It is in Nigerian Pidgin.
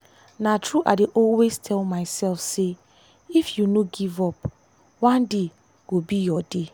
na true i dey always tell myself say if you no give up one day go be your day.